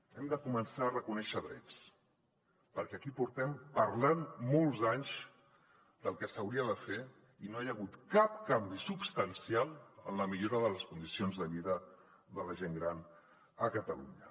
hem de començar a reconèixer drets perquè aquí portem parlant molts anys del que s’hauria de fer i no hi ha hagut cap canvi substancial en la millora de les condicions de vida de la gent gran a catalunya